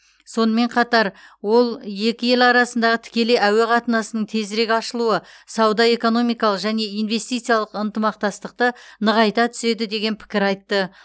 сонымен қатар ол екі ел арасындағы тікелей әуе қатынасының тезірек ашылуы сауда экономикалық және инвестициялық ынтымақтастықты нығайта түседі деген пікір айтты